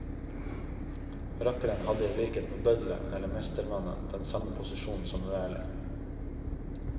Rakkeren hadde i likhet med bøddelen eller mestermannen den samme posisjon som uærlig.